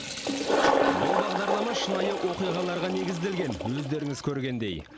бұл бағдарлама шынайы оқиғаларға негізделген өздеріңіз көргендей